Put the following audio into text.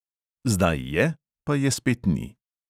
Zdaj je, pa je spet ni.